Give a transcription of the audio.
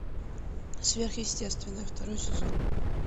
сверхъестественное второй сезон